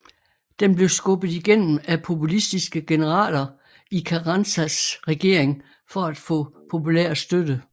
Den blev skubbet igennem af populistiske generaler i Carranzas regering for at får populær støtte